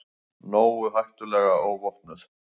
Nógu hættuleg óvopnuð.